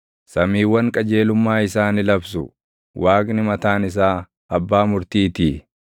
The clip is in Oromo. Samiiwwan qajeelummaa isaa ni labsu; Waaqni mataan isaa abbaa murtiitii.